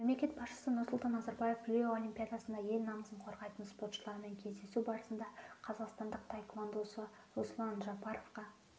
мемлекет басшысы нұрсұлтан назарбаев рио олимпиадасында ел намысын қорғайтын спортшылармен кездесу барысында қазақстандық таеквондошы руслан жапаровқа